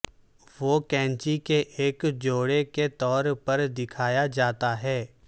وہ کینچی کے ایک جوڑے کے طور پر دکھایا جاتا ہے